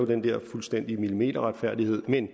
den der fuldstændige millimeterretfærdighed men